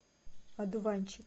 одуванчик